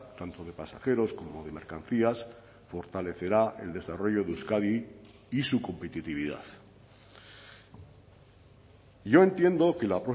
tanto de pasajeros como de mercancías fortalecerá el desarrollo de euskadi y su competitividad yo entiendo que la